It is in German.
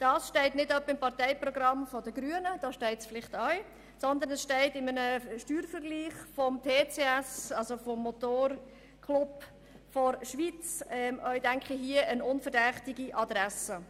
» Ähnliches steht wohl im Parteiprogramm der Grünen, aber dieses Zitat habe ich einem Steuervergleich des TCS entnommen, des Motorclubs der Schweiz, und das ist sicher eine unverdächtige Adresse.